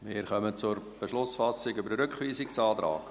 Wir kommen zur Beschlussfassung über den Rückweisungsantrag.